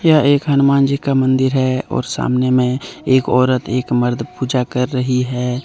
यह एक हनुमान जी का मंदिर है और सामने में एक औरत एक मर्द पूजा कर रही है।